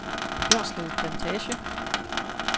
Bjørslev Plantage